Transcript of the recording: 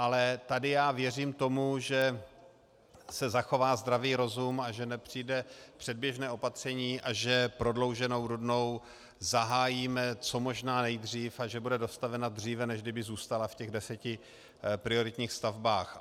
Ale tady já věřím tomu, že se zachová zdravý rozum a že nepřijde předběžné opatření a že prodlouženou Rudnou zahájíme co možná nejdřív a že bude dostavena dříve, než kdyby zůstala v těch deseti prioritních stavbách.